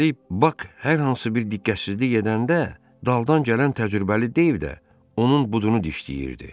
Üstəlik, Bak hər hansı bir diqqətsizlik edəndə daldan gələn təcrübəli Deyv də onun budunu dişləyirdi.